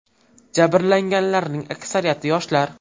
Jabrlanganlarning aksariyati yoshlar.